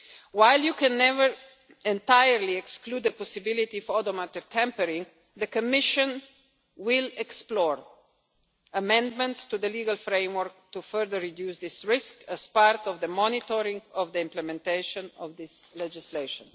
readings. While you can never entirely exclude the possibility of odometer tampering, the Commission will explore amendments to the legal framework to further reduce this risk as part of the monitoring of the implementation of this legislation.